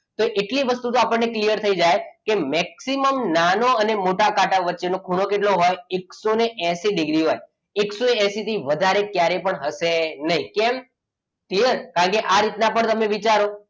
કે એટલે વસ્તુ તો આપણને clear થઈ જાય કે maximum નાનો અને મોટોકાંટા વચ્ચે નો ખૂણો કેટલો હોય એકસો એસી ડિગ્રી હોય. એકસો એસી થી વધારે ક્યારે થશે નહીં. કેમ યસ કારણ કે તમે આ રીતના પણ વિચારો,